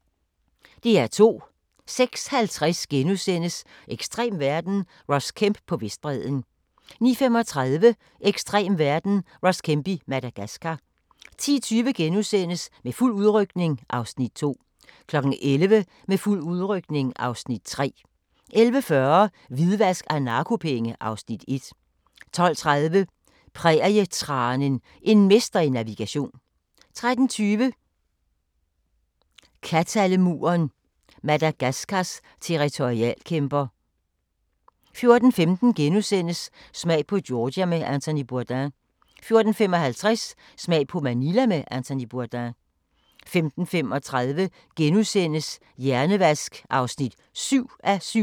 08:50: Ekstrem verden – Ross Kemp på Vestbredden * 09:35: Ekstrem verden – Ross Kemp i Madagascar 10:20: Med fuld udrykning (Afs. 2)* 11:00: Med fuld udrykning (Afs. 3) 11:40: Hvidvask af narkopenge (Afs. 1) 12:30: Prærietranen – en mester i navigation 13:20: Kattalemuren – Madagaskars territorialkæmper 14:15: Smag på Georgia med Anthony Bourdain * 14:55: Smag på Manila med Anthony Bourdain 15:35: Hjernevask (7:7)*